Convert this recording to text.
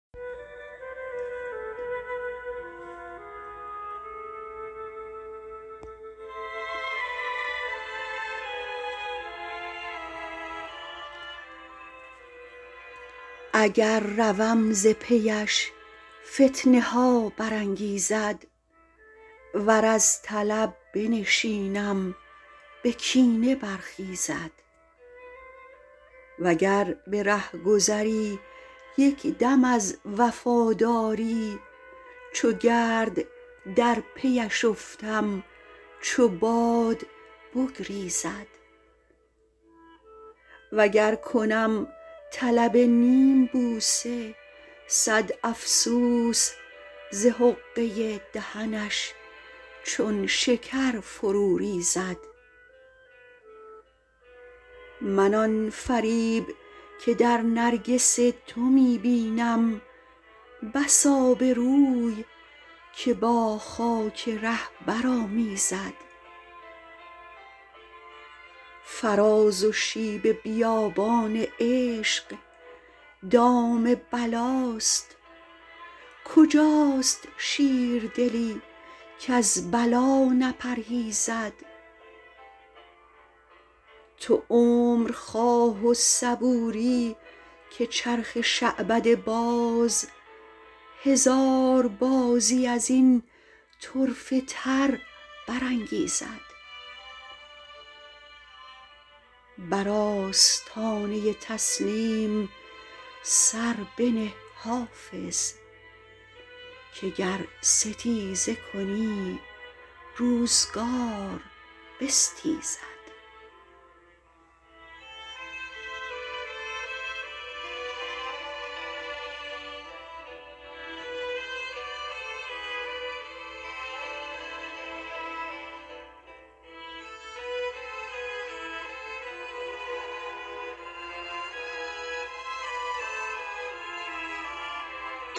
اگر روم ز پی اش فتنه ها برانگیزد ور از طلب بنشینم به کینه برخیزد و گر به رهگذری یک دم از وفاداری چو گرد در پی اش افتم چو باد بگریزد و گر کنم طلب نیم بوسه صد افسوس ز حقه دهنش چون شکر فرو ریزد من آن فریب که در نرگس تو می بینم بس آبروی که با خاک ره برآمیزد فراز و شیب بیابان عشق دام بلاست کجاست شیردلی کز بلا نپرهیزد تو عمر خواه و صبوری که چرخ شعبده باز هزار بازی از این طرفه تر برانگیزد بر آستانه تسلیم سر بنه حافظ که گر ستیزه کنی روزگار بستیزد